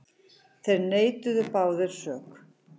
Þeir neituðu báðir sök.